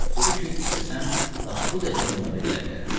Dedi ki, istəsəm lap bu dəqiqə onlara gələ bilərəm.